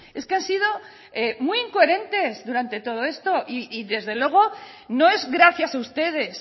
es que han sido muy incoherentes durante todo esto y desde luego no es gracias a ustedes